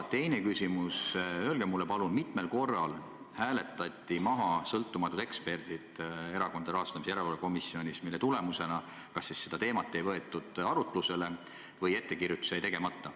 Teine küsimus: öelge palun, et mitmel korral hääletati maha sõltumatute ekspertide arvamus Erakondade Rahastamise Järelevalve Komisjonis, mille tulemusena kas teatud teemat ei võetud arutlusele või ettekirjutus jäi tegemata.